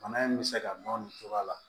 Bana in bɛ se ka dɔn nin cogoya la